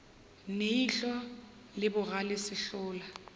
ne ihlo le bogale sehlola